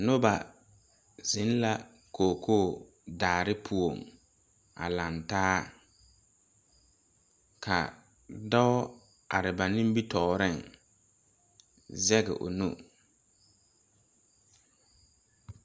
Noba zeŋ la kookoo saare poɔŋ a laŋtaa ka dɔɔ are ba nimitooreŋ zege o nu.